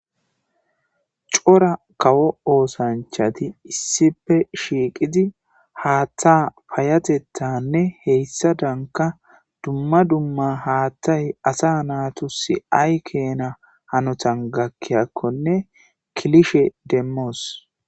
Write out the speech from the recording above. Cora kawo oosanchati issipe shiiqidi haaththa payatettanne heyssa danka dumma dumma haathtay asa naatusi aykena hanotan gakkiyakkonne kilishe demmoos